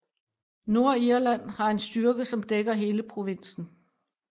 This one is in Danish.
Nordirland har en styrke som dækker hele provinsen